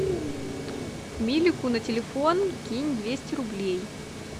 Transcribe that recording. милику на телефон кинь двести рублей